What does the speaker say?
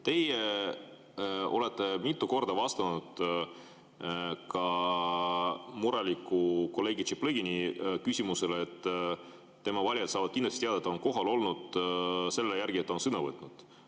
Te olete mitu korda vastanud mureliku kolleegi Tšaplõgini küsimusele, et tema valijad saavad kindlasti teada, et ta on kohal olnud, selle järgi, et ta on sõna võtnud.